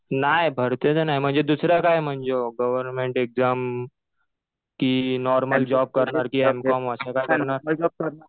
नाही भरतीचं नाही. म्हणजे दुसरं काय म्हणजे गव्हर्नमेंट एक्झाम कि नॉर्मल जॉब करणार कि एम कॉम असं काही करणार?